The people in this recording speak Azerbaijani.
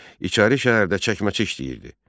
İçəri şəhərdə çəkməçi işləyirdi.